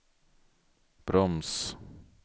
broms